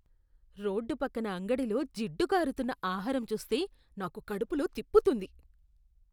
Road పక్కన అంగడిలో జిడ్డు కారుతున్న ఆహారం చూస్తే నాకు కడుపులో తిప్పుతుంది.